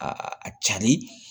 a cari